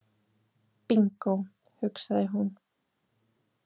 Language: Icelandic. Bingó, hugsaði hún.